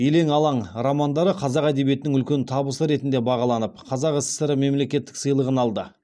елең алаң романдары қазақ әдебиетінің үлкен табысы ретінде бағаланып қазақ сср мемлекеттік сыйлығын алды